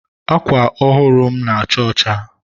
Akwa ọhụrụ m na-acha ọcha..